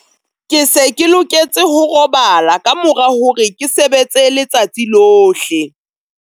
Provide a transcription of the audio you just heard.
Ke se ke loketse ho robala ka mora hore ke sebetse letsatsi lohle.